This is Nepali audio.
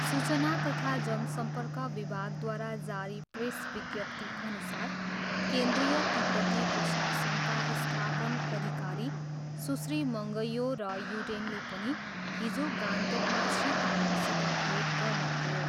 सूचना तथा जनसम्पर्क विभागद्वारा जारी प्रेस विज्ञप्तिअनुसार केन्द्रीय तिब्बती प्रशासनका स्थापन अधिकारी सुश्री मङग्यो र युडेनले पनि हिजो गान्तोकमा श्री तामङसित भेट गर्नुभयो।